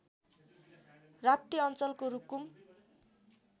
राप्ती अञ्चलको रुकुम